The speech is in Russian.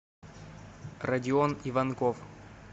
родион иванков